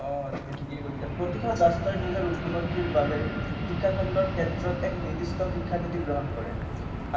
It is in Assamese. অ তুমি ঠিকেই কৈছা প্ৰতিখন ৰাষ্ট্ৰই নিজৰ উন্নতিৰ বাবে শিক্ষাখণ্ডৰ ক্ষেত্ৰত এক নিৰ্দিষ্ট শিক্ষানীতি গ্ৰহণ কৰে,